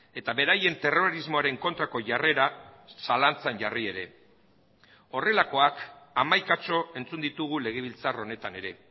eta beraien terrorismoaren kontrako jarrera zalantzan jarri ere horrelakoak hamaikatxo entzun ditugu legebiltzar honetan ere